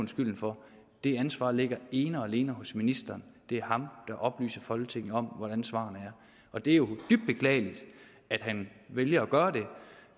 skylden for det ansvar ligger ene og alene hos ministeren det er ham der oplyser folketinget om hvordan svarene er og det er jo dybt beklageligt at han vælger